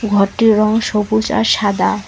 ঘরটির রং সবুজ আর সাদা।